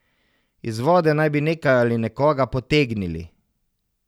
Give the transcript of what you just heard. Iz vode naj bi nekaj ali nekoga potegnili.